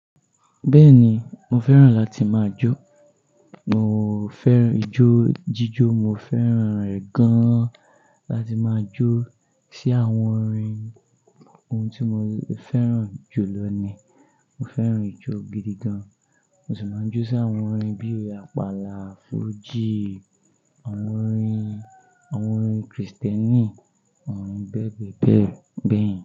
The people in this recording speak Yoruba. Bẹ́ẹ̀ni, mo fẹ́ràn láti máa jó. Mo fẹ́ràn ijó jíjó, mo fẹ́ràn rẹ̀ gan láti máa jó sí àwọn orin ohun tí mo fẹ́ràn jù lọ ni. Mo fẹ́ràn ijó gidi gan. Mo sì máa ń jó sí àwọn orin bíi àpàlà, fuji, àwọn orin, àwọn orin Kristẹni, àwọn orin bẹ́ẹ̀ bẹ́ẹ̀ bẹ́ẹ̀.